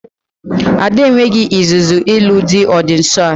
Ada e nweghị izuzu ịlụ di ọ dị nsọ a